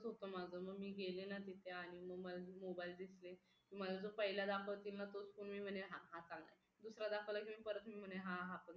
असेच होतं माझं मग मी गेले ना तिथे आणि मग मला mobile दिसले मला जो पहिला दाखवतील ना तोच फोन मी म्हणेल हा हा चांगलाय दुसरा दाखवला तर मी परत म्हणेल हा हा चांगला